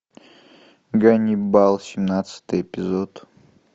ганнибал семнадцатый эпизод